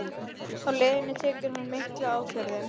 Á leiðinni tekur hún mikla ákvörðun